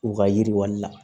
U ka yiriwali la